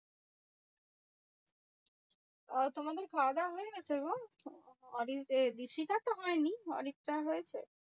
আর তোমাদের খাওয়া দাওয়া হয়ে গেছে গো? ওরি এ ঋষিকার তো হয়নি অরিত্রার হয়েছে?